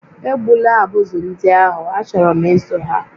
Egbula abụzụ ndị ahụ, achọrọ m ịzụ ha